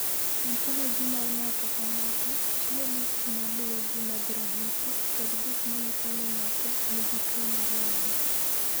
"Ontoloji mar ng’ato ka ng’ato chiwo list ma luwogi mag ranyisi kod gik ma nyiso ni ng’ato nigi tuwo mar wang’."